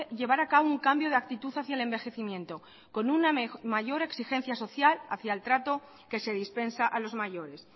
llevar a cabo un cambio de actitud hacia el envejecimiento con una mayor exigencia social hacia el trato que se dispensa a los mayores